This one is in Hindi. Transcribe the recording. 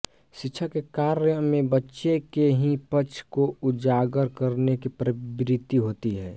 शिक्षक के कार्यां में बच्चे के ही पक्ष को उजागर करने की प्रवृत्ति होती है